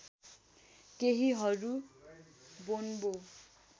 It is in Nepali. केहीहरू बोन्बो